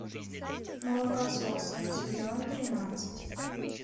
молокососы сезон тринадцать